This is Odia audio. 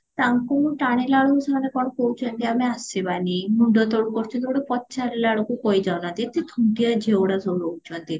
ତାଙ୍କୁ ମୁଁ ଟାଣିଲାବେଳକୁ ସେମାନେ କଣ କହୁଚନ୍ତି ଆମେ ଆସିବାନି ମୁଣ୍ଡ ତଳକୁ କରୁଚନ୍ତି ଗୋଟେ ପଚାରିଲାବେଳକୁ କହି ଯାଉନାହାନ୍ତି ଏତେ ଝିଅ ଗୁଡା ସବୁ ରହୁଚନ୍ତି